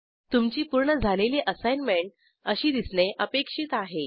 तुमची पूर्ण झालेली असाईनमेंट अशी दिसणे अपेक्षित आहे